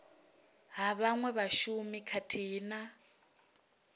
ha vhaṅwe vhashumi khathihi na